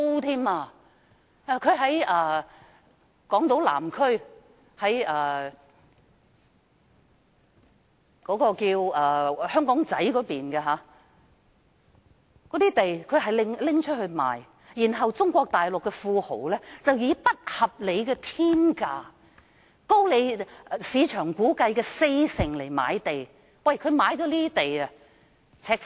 政府出售港島南區香港仔一帶的一幅土地，由中國大陸的富豪以不合理的"天價"買入，估計高出市價四成，我們的土地被"赤化"。